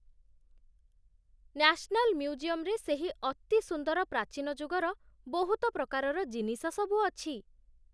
National ମ୍ୟୁଜିୟମ୍‌ରେ ସେହି ଅତି ସୁନ୍ଦର ପ୍ରାଚୀନ ଯୁଗର ବହୁତ ପ୍ରକାରର ଜିନିଷ ସବୁ ଅଛି ।